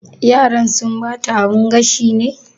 Yaran sun bata abun gashin ne?